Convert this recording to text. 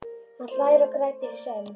Hann hlær og grætur í senn.